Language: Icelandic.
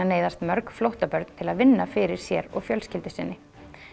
neyðast mörg flóttabörn til að vinna fyrir sér og fjölskyldu sinni